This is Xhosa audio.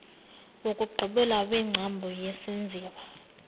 wokugqibela wengcambu yesenziwa